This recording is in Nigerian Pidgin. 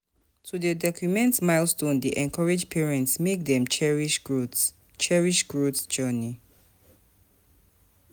To dey document milestones dey encourage parents make dem cherish growth cherish growth journey.